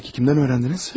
Peki kimdən öyrəndiniz?